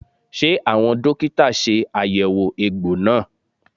Ṣé àwọn dókítà ṣe àyẹ̀wò egbò náà?